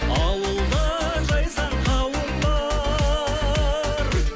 ауылда жайсаң қауым бар